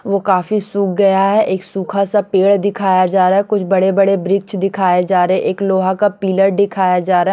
वो काफी सुख गया है एक सुखा सा पेड़ दिखाया जारा कुछ बड़े बड़े ब्रिज दिखाए जारे एक लोहे का पिलर दिखाया जारा--